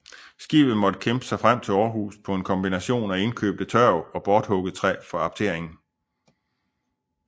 Skibet måtte kæmpe sig frem til Aarhus på en kombination af indkøbte tørv og borthugget træ fra apteringen